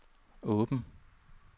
åbn